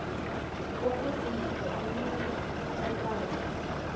ukusindiswa umelwe kokwazi